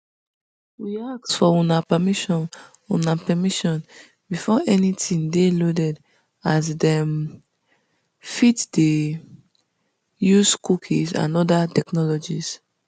we ask for una permission una permission before anytin dey loaded as dem um fit dey um use cookies and oda technologies